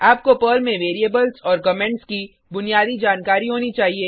आपको पर्ल में वेरिएबल्स और कमेंट्स की बुनियादी जानकारी होनी चाहिए